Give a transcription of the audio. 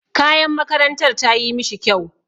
Kayan makarantar tayi mishi kyau.